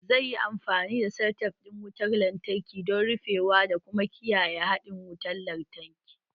Zai yi amfani da selatef ɗin wutar lantarki don rufewa da kuma kiyaye haɗin wutar lantarki